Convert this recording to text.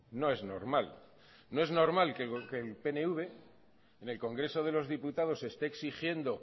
no es normal no es normal que el pnv en el congreso de los diputados esté exigiendo